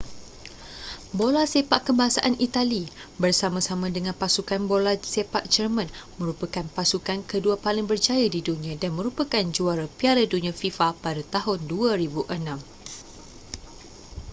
bola sepak kebangsaan itali bersama-sama dengan pasukan bola sepak german merupakan pasukan kedua paling berjaya di dunia dan merupakan juara piala dunia fifa pada tahun 2006